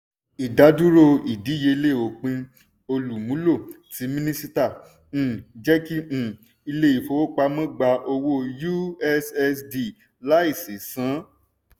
ìdádúró ìdíyelé òpin-olùmúlò tí mínísíta um jẹ́kí um ilé́ ìfowópamọ́ gbà owó ussd láìsí san.